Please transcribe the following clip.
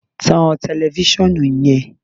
tan tẹlifisiọnu yen!